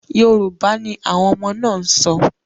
Yorùbá ni àwọn ọmọ náà ǹ sọ.